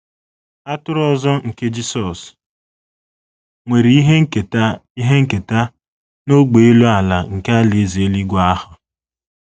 “ Atụrụ ọzọ ” nke Jisọs nwere ihe nketa ihe nketa n’ógbè elu ala nke Alaeze eluigwe ahụ.